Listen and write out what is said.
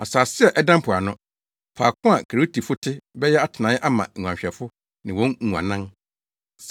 Asase a ɛda mpoano, faako a Keretifo te bɛyɛ atenae ama nguanhwɛfo ne wɔn nguannan.